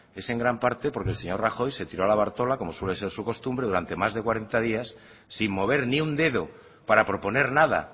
es en gran parte porque el señor rajoy se tiró a la bartola como suele ser su costumbre durante más de cuarenta días sin mover ni un dedo para proponer nada